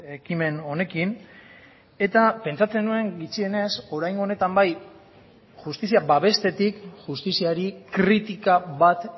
ekimen honekin eta pentsatzen nuen gutxienez oraingo honetan bai justizia babestetik justiziari kritika bat